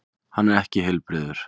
Hann er ekki heilbrigður.